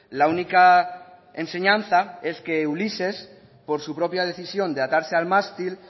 la única enseñanza es que ulises por su propia decisión de atarse al mástil